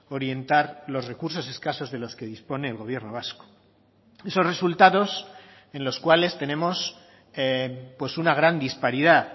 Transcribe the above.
orientar los recursos escasos de los que dispone el gobierno vasco esos resultados en los cuales tenemos una gran disparidad